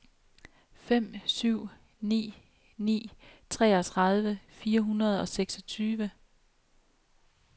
fem syv ni ni treogtredive fire hundrede og seksogtyve